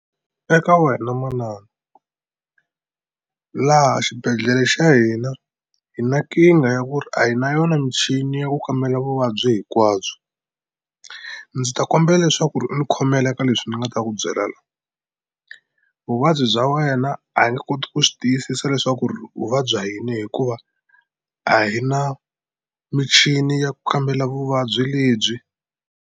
Eka wena manana laha xibedhlele xa hina hi na nkingha ya ku ri a hi na yona michini ya ku kambela vuvabyi hinkwabyo ndzi ta kombela leswaku ri u ni khomela eka leswi ni nga ta ku byela la vuvabyi bya wena a hi nge koti ku swi tiyisisa leswaku ri u vabya yini hikuva a hi na michini ya ku kambela vuvabyi lebyi.